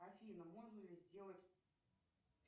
афина можно ли сделать